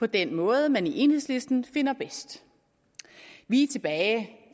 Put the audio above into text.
på den måde man i enhedslisten finder bedst vi er tilbage